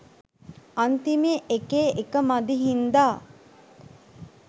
අන්තිමේ එකේ එක මදි හින්දා